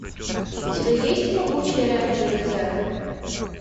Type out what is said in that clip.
у тебя есть могучие рейнджеры зео